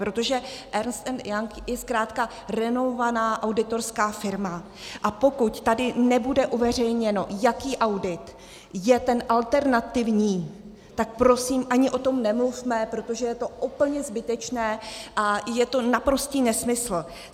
Protože Ernst & Young je zkrátka renomovaná auditorská firma, a pokud tady nebude uveřejněno, jaký audit je ten alternativní, tak prosím ani o tom nemluvme, protože je to úplně zbytečné a je to naprostý nesmysl.